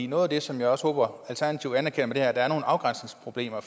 noget af det som jeg også håber at alternativet anerkender er at der er nogle afgrænsningsproblemer